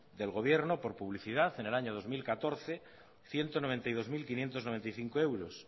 del gobierno por publicidad en el año dos mil catorce ciento noventa y dos mil quinientos noventa y cinco euros